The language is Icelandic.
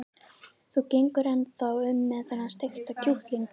Þú gengur ennþá um með þennan steikta kjúkling.